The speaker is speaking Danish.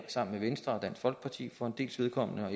sammen med venstre og dansk folkeparti for en dels vedkommende og